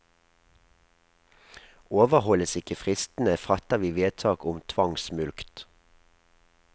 Overholdes ikke fristene, fatter vi vedtak om tvangsmulkt.